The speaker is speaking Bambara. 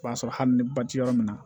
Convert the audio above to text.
O y'a sɔrɔ hali ni ba ti yɔrɔ min na